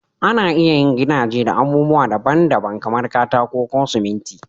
Ana iya yin gidaje da abubuwa daban-daban kamar katako ko siminti